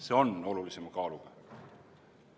See on olulisema kaaluga.